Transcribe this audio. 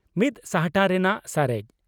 ᱢᱤᱛ ᱥᱟᱦᱴᱟ ᱨᱮᱱᱟᱜ ᱥᱟᱨᱮᱡ